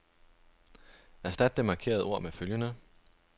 Erstat det markerede ord med følgende.